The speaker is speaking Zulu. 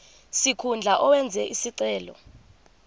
sikhundla owenze isicelo